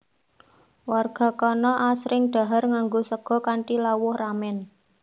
Warga kana asring dhahar nganggo sega kanthi lawuh ramen